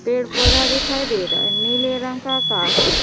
पेड़ पौधा दिखाई दे रहा है नीले रंग का आकाश है।